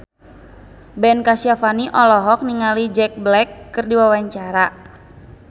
Ben Kasyafani olohok ningali Jack Black keur diwawancara